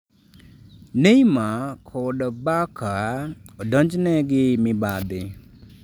Neymar kod Barca odonjne gi mibadhi